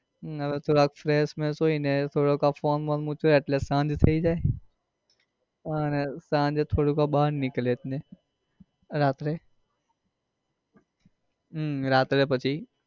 હવે તો થોડા fresh બેશ થઇ ને થોડાક ફોન બોન મૂકીએ એટલે શાંતિ થઇ જાય અને સાંજે થોડું આ બાર નીકળીએ એટલે રાત્રે હમ રાત્રે પછી